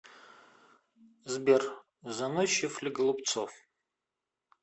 сбер заносчив ли голубцов